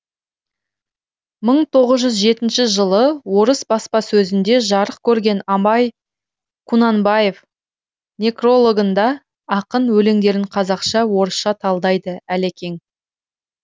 мың тоғыз жүз жетінші жылы орыс баспасөзінде жарық көрген абай кунанбаев некрологында ақын өлеңдерін қазақша орысша талдайды әлекең